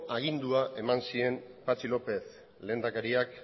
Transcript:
agindua eman zien patxi lópez lehendakariak